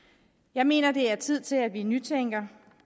jeg mener at det er tid til at vi nytænker